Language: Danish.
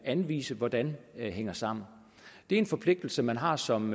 anvise hvordan den hænger sammen det er en forpligtelse man har som